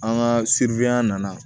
An ka siri yan nana